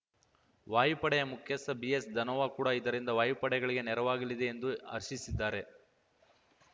ವಾಯುಪಡೆ ಮುಖ್ಯಸ್ಥ ಬಿಎಸ್‌ ಧನೋವಾ ಕೂಡ ಇದರಿಂದ ವಾಯುಪಡೆಗೆ ನೆರವಾಗಲಿದೆ ಎಂದು ಹರ್ಷಿಸಿದ್ದಾರೆ